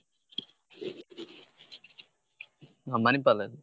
ನಾನ್ Manipal ದಲ್ಲಿ.